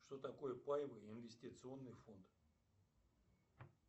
что такое паевый инвестиционный фонд